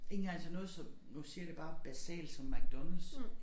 Ikke engang som nu siger jeg det bare basalt som McDonald's